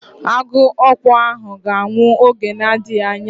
Agụọkpu ahụ ga-anwụ n'oge na-adịghị anya.